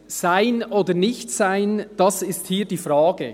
«Sein oder Nichtsein, das ist hier die Frage.